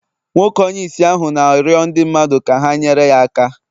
Nwoke onye ìsì ahụ na-arịọ ndị mmadụ ka ha nyere ya aka